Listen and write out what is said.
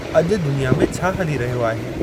अॼु दुनिया में छा हली रहियो आहे?